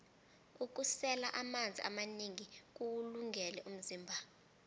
ukusela amanzi amanengi kuwulungele umzimba